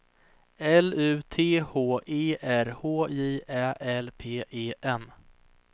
L U T H E R H J Ä L P E N